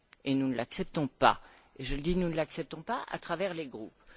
Et nous ne l'acceptons pas et, je le dis, nous ne l'acceptons pas à travers les groupes.